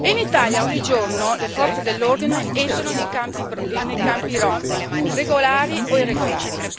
E in Italia, ogni giorno, le forze dell'ordine entrano nei campi rom, regolari o irregolari.